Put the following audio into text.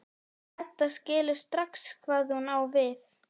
Edda skilur strax hvað hún á við.